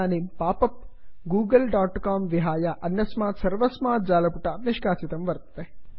इदानीं pop up Google dot com विहाय अन्यस्मात् सर्वस्मात् जालपुटात् निष्कासितं वर्तते